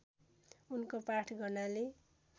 उनको पाठ गर्नाले